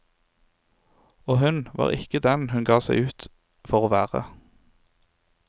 Og hun var ikke den hun ga seg ut for å være.